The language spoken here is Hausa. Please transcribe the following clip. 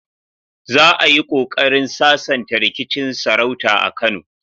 Za a yi kokarin sasanta rikicin sarauta a Kano.